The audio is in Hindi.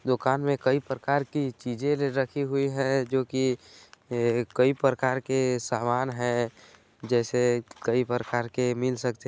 दुकान में कई परकार के चीज़े रखी हुई है जोकि कई परकार के सामान है जैसे कई परकार के मिल सकथे।